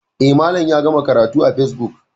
E, Malam ya gama karatu a facebook.